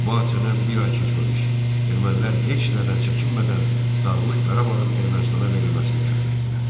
Bu hadisədən bir ay keçməmiş ermənilər heç nədən çəkinmədən Dağlıq Qarabağın Ermənistana verilməsini tələb etdilər.